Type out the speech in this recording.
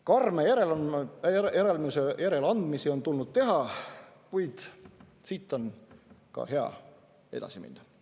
Karme järeleandmisi on tulnud teha, kuid siit on ka hea edasi minna.